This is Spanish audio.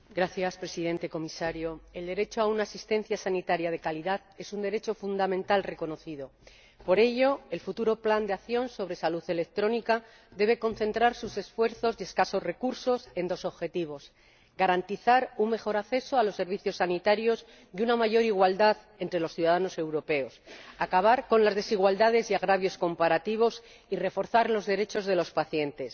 Señor Presidente, Señor Comisario, el derecho a una asistencia sanitaria de calidad es un derecho fundamental reconocido. Por ello, el futuro Plan de acción sobre la salud electrónica debe concentrar sus esfuerzos y escasos recursos en dos objetivos garantizar un mejor acceso a los servicios sanitarios y una mayor igualdad entre los ciudadanos europeos, acabar con las desigualdades y los agravios comparativos y reforzar los derechos de los pacientes.